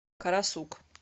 карасук